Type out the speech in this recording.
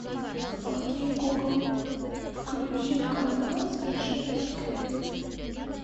окей гугл включи канал совершенно секретно